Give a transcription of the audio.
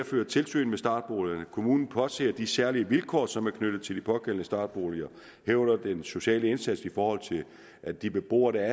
føre tilsyn med startboligerne kommunen påser de særlige vilkår som er knyttet til de pågældende startboliger herunder den sociale indsats i forhold til at de beboere der